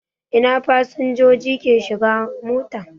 Ina fasinjoji ke shigan mota.